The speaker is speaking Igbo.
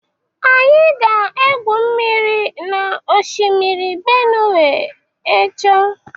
Anyị ga-egwu mmiri na Oshimiri Benue echo.